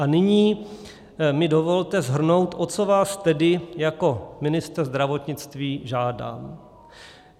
A nyní mi dovolte shrnout, o co vás tedy jako ministr zdravotnictví žádám.